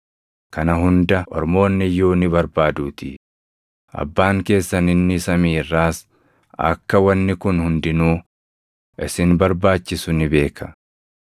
Kana hunda ormoonni iyyuu ni barbaaduutii; Abbaan keessan inni samii irraas akka wanni kun hundinuu isin barbaachisu ni beeka.